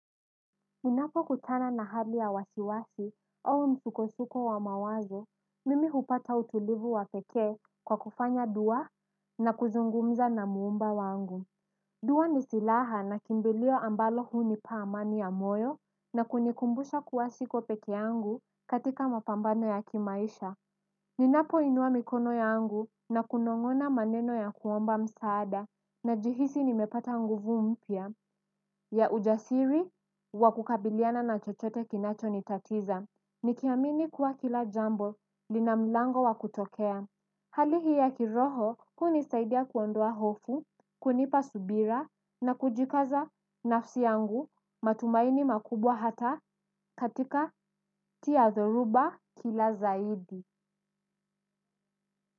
Unapo kutana na hali ya wasiwasi, au msuko-suko wa mawazo, mimi hupata utulivu wa pekee kwa kufanya dua na kuzungumza na muumba wangu. Dua ni silaha na kimbilio ambalo hunipa amani ya moyo na kunikumbusha kuwa siko pekee yangu katika mapambano ya kimaisha. Ninapo inua mikono yangu na kunongona maneno ya kuomba msaada najihisi nimepata nguvu mpya. Ya ujasiri wakukabiliana na chochote kinacho nitatiza. Nikiamini kuwa kila jambo lina mlango wakutokea. Hali hii ya kiroho hunisaidia kuondoa hofu, kunipa subira na kujikaza nafsi yangu matumaini makubwa hata katikakati ya dhoruba kila zaidi.